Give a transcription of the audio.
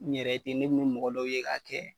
N yɛrɛ den ne kun bɛ mɔgɔ dɔw ye ka kɛ.